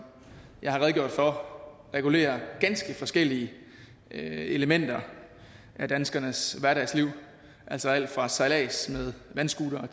jeg har redegjort for regulerer ganske forskellige elementer af danskernes hverdagsliv altså alt fra sejlads med vandscootere